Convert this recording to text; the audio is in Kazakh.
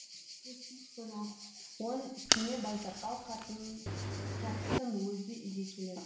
оның үстіне байсақал қарттың өзі үйге келеді